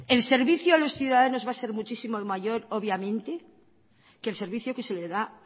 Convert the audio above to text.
el servicio a los ciudadanos va a ser muchísimo mayor obviamente que el servicio que se le da